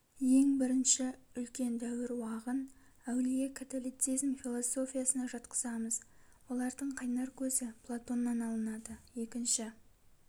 ең бірінші үлкен дәуір уағын әулие католицизм философиясына жатқызамыз олардың қайнар көзі платоннан алынады екінші